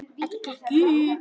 Þetta gekk upp.